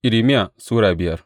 Irmiya Sura biyar